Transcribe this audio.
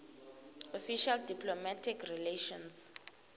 official diplomatic relations